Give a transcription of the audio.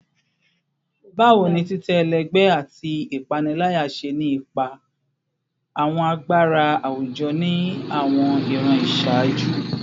Bawo ni titẹ ẹlẹgbẹ ati ipanilaya ṣe ni ipa awọn agbara awujọ ni awọn iran iṣaaju?